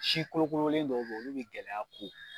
Si kolokolen dɔw bɛ yen, olu bɛ gɛlɛya kun.